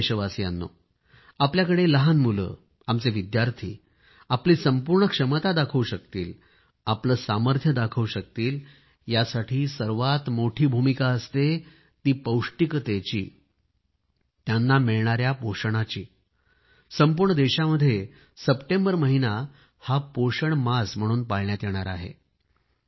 प्रिय देशवासियांनो आपल्याकडे लहान मुले आमचे विद्यार्थी आपली संपूर्ण क्षमता दाखवू शकतील आपले सामर्थ्य दाखवू शकतील यासाठी सर्वात मोठी भूमिका असते ते पौष्टिकतेची त्यांना मिळणाया पोषणाची संपूर्ण देशामध्ये सप्टेंबर महिना पोषण माह म्हणून पाळण्यात येणार आहे